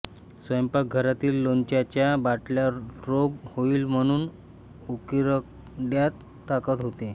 स्वयंपाकघरातील लोणच्याच्या बाटल्या रोग होईल म्हणून उकिरड्यात टाकत होते